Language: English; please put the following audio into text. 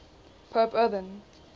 pope urban